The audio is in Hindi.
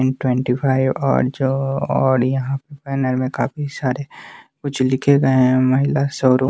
इन ट्वेंटी फाइव और जो और यहां पैनल में काफी सारे कुछ लिखे गए हैं महिला स्वरूप।